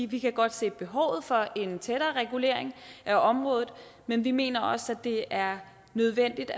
vi kan godt se behovet for en tættere regulering af området men vi mener også at det er nødvendigt at